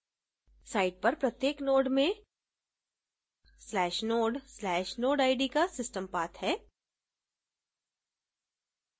site पर प्रत्येक node में/node/nodeid का system path है